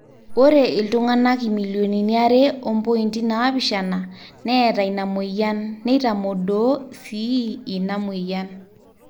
ore iltung'anak imillionini are ompointi naapishana neeta ina mweyian neitamodoo sii ina mweyian